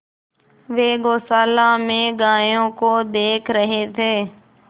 वे गौशाला में गायों को देख रहे थे